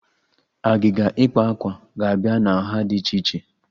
Agịga ikpa akwa ga-abịa na nha dị iche iche